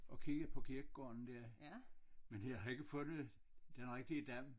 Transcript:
Og kigget på kirgården dér men jeg har ikke fundet den rigtig Dam